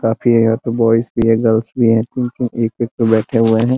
काफी है यहां पे ब्वॉयज भी है गर्ल्स भी है तीन-तीन एक-एक पर बैठे हुए है।